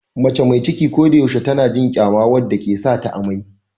Mace mai ciki ko da yaushe tana jin kyama wanda ke sa ta amai.